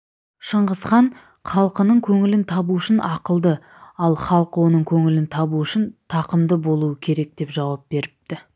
шыңғыс хан халқының көңілін табу үшін ақылды ал халқы оның көңілін табу үшін тақымды болуы керекдеп жауап беріпті